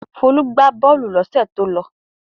Folú gbà bọ́ọ́lù lọ́sẹ̀ tó lọ.